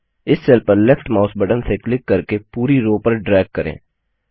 अब इस सेल पर लेफ्ट माउस बटन से क्लिक करके पूरी रो पर ड्रैग करें